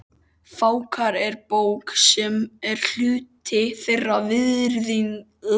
Fákar er bók, sem er hluti þeirra virðingarmerkja.